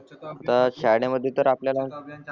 त शाळे मध्ये तर आपल्याला